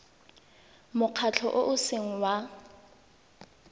mokgatlho o o seng wa